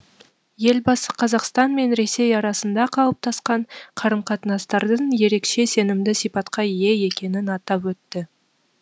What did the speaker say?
елбасы қазақстан мен ресей арасында қалыптасқан қарым қатынастардың ерекше сенімді сипатқа ие екенін атап өтті